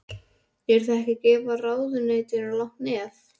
Eruð þið ekki að gefa ráðuneytinu langt nef?